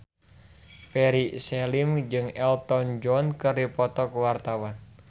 Ferry Salim jeung Elton John keur dipoto ku wartawan